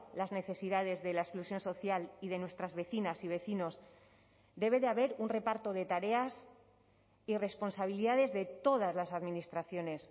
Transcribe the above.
las necesidades de la exclusión social y de nuestras vecinas y vecinos debe de haber un reparto de tareas y responsabilidades de todas las administraciones